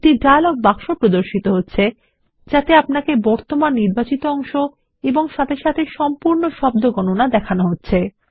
একটি dialog box প্রদর্শিত হছে যাতে আপনাকে বর্তমান নির্বাচিত অংশ সাথে সাথে সম্পূর্ণ শব্দ গণনাও দেখানো হচ্ছে